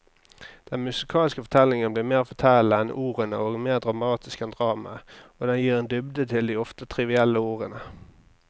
Den musikalske fortellingen blir mer fortellende enn ordene og mer dramatisk enn dramaet, og den gir en dybde til de ofte trivielle ordene.